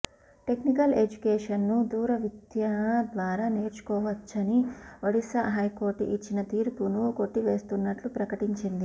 technical ఎడ్యుకేషన్ను దూర విద్య ద్వారా నేర్చుకోవచ్చని ఒడిశా హైకోర్టు ఇచ్చిన తీర్పును కొట్టివేస్తున్నట్టు ప్రకటించింది